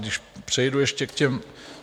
Když přejdu ještě k těm...